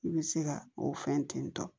I bɛ se ka o fɛn ten tɔ